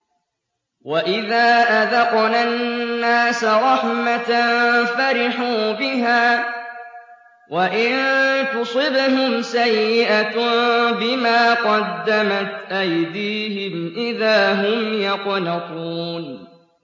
وَإِذَا أَذَقْنَا النَّاسَ رَحْمَةً فَرِحُوا بِهَا ۖ وَإِن تُصِبْهُمْ سَيِّئَةٌ بِمَا قَدَّمَتْ أَيْدِيهِمْ إِذَا هُمْ يَقْنَطُونَ